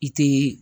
I te